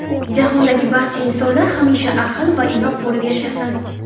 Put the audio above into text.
Jahondagi barcha insonlar hamisha ahil va inoq bo‘lib yashasin!